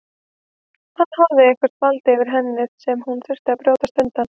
Hann hafði eitthvert vald yfir henni sem hún þurfti að brjótast undan.